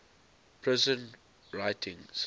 prison writings